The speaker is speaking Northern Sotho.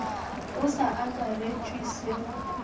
go sa akaretšwe se go